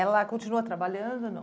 Ela continua trabalhando ou não?